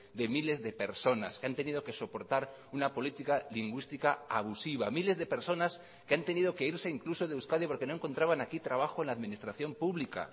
de miles de personas que han tenido que soportar una política lingüística abusiva miles de personas que han tenido que irse incluso de euskadi porque no encontraban aquí trabajo en la administración pública